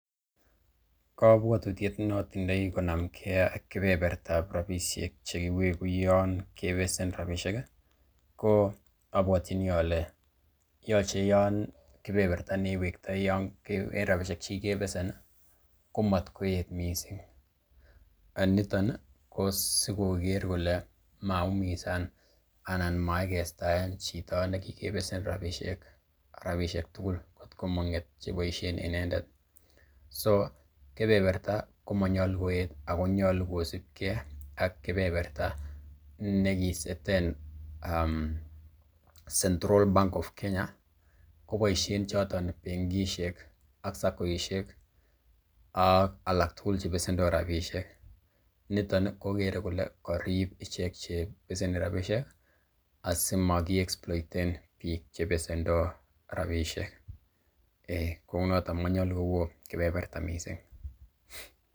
Kobwotutiet ne otindoi konamge ak rabishek che kiwegu yon kebesen rabishek, ko abwotyini ole yoche yon kebeberta neiwektoi en rabisiek che kigebesen komatkoet mising. Niton ko sikoker kole maumisaan anan maiketaen chito ne kigebesen rabishek tugul kot ko mong'et che boisien inendet. So kebeberta komonyolu koet agonyolu kosibge ak kebeberta nekiseten Central Bank of Kenya koboisien choton benkishek ak SACCOishek ak alak tugul che besendo rabishek niton kogere kole korip ichek che beseni rabishek asimaki exploiten biik che besendo rabishek. Eiy kounoto monyolu kowo kebeberta mising.